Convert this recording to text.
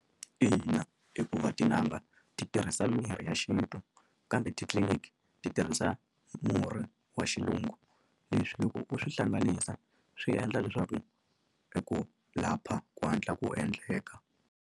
Ina, hikuva tin'anga ti tirhisa mirhi ya xintu kambe titliliniki ti tirhisa murhi wa xilungu leswi loko u swi hlanganisa swi endla leswaku eku lapha ku hatla ku endleka.